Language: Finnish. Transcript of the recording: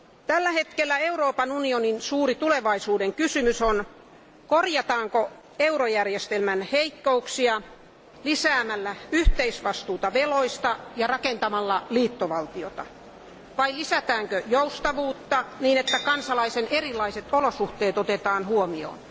Tällä hetkellä Euroopan unionin suuri tulevaisuuden kysymys on korjataanko eurojärjestelmän heikkouksia lisäämällä yhteisvastuuta veroista ja rakentamalla liittovaltiota, vai lisätäänkö joustavuutta niin, että kansalaisten erilaiset olosuhteet otetaan huomioon?